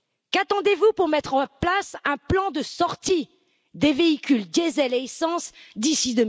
Qu'attendez vous pour mettre en place un plan de sortie des véhicules diesel et essence d'ici